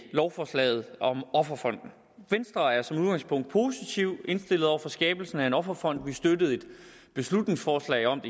lovforslaget om offerfonden venstre er som udgangspunkt positivt indstillet over for skabelsen af en offerfond vi støttede et beslutningsforslag om